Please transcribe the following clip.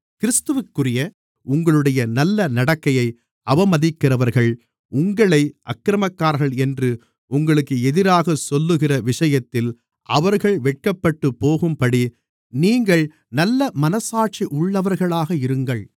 கிறிஸ்துவிற்குரிய உங்களுடைய நல்ல நடக்கையை அவமதிக்கிறவர்கள் உங்களை அக்கிரமக்காரர்கள் என்று உங்களுக்கு எதிராகச் சொல்லுகிற விஷயத்தில் அவர்கள் வெட்கப்பட்டுப்போகும்படி நீங்கள் நல்ல மனச்சாட்சி உள்ளவர்களாக இருங்கள்